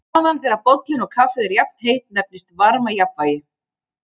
Staðan þegar bollinn og kaffið er jafnheitt nefnist varmajafnvægi.